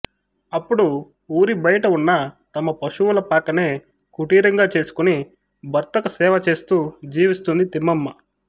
అప్పుడు వూరిబయట ఉన్న తమ పశువుల పాకనే కుటీరంగా చేసుకుని భర్తకు సేవ చేస్తూ జీవిస్తుంది తిమ్మమ్మ